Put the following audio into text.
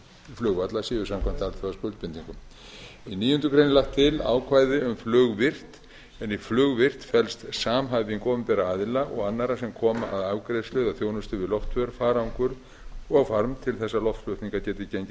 flugvalla séu samkvæmt alþjóðaskuldbindingum í níundu grein er lagt ákvæði um flugvirkt en í flugvirkt felst samhæfing opinberra aðila og annarra sem koma að afgreiðslu eða þjónustu við loftför farangur og farm til að loftflutningar geti gengið